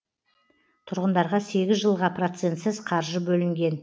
тұрғындарға сегіз жылға процентсіз қаржы бөлінген